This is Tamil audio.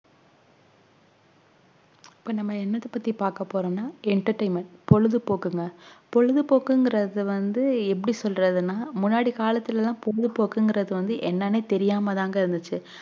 இப்போ என்னத்த பத்தி பக்கபோறோம்னா entertainment பொழுதுபோக்குங்க பொழுதுபோக்குங்கறது வந்து எப்டி சொல்றதுனா முன்னாடி காலத்துளலாம் பொழுதுபோக்குனாஎன்னேனுதெரியாமதாங்கஇருந்துச்சு